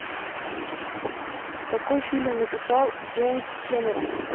какой фильм написал джеймс кэмерон